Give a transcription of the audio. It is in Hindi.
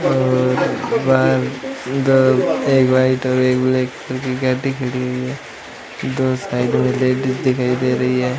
और बाहर दो एक व्हाइट और एक ब्लैक रंग की गाड़ी खड़ी हुई है दो साइड में लेडीज दिखाई दे रही है।